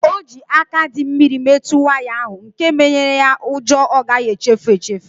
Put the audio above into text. O ji aka dị mmiri metụ waya ahu nke menyere ya ụjọ ọ gaghị echefu echefu